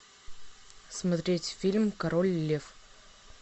смотреть фильм король лев